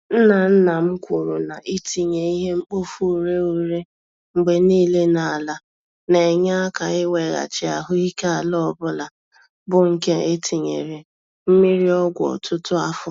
Nna nna m kwuru na itinye ìhè-mkpofu-ureghure mgbe niile n'ala, na-enye aka iweghachi ahụike ala ọbula, bụ nke etinyere mmiri-ọgwụ ọtụtụ afọ